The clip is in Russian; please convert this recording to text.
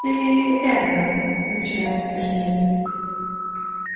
ты это начинает сергей